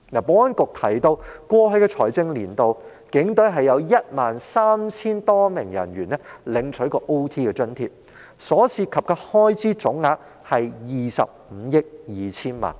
保安局曾提到在過去的財政年度，有 13,000 多名警隊人員曾領取加班津貼，所涉及的開支總額為25億 2,000 萬元。